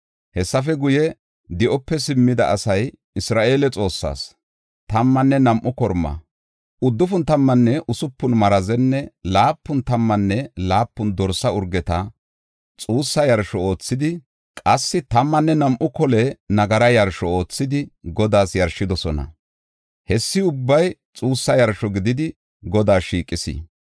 Hessafe guye, di7ope simmida asay, Isra7eele Xoossaas, tammanne nam7u korma, uddufun tammanne usupun marazenne laapun tammanne laapun dorsa urgeta xuussa yarsho oothidi, qassi tammanne nam7u kole nagara yarsho oothidi Godaas yarshidosona. Hessi ubbay xuussa yarsho gididi Godaas shiiqis.